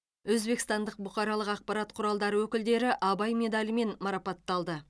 өзбекстандық бұқаралық ақпарат құралдары өкілдері абай медалімен марапатталды